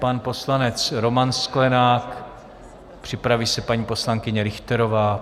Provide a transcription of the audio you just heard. Pan poslanec Roman Sklenák, připraví se paní poslankyně Richterová.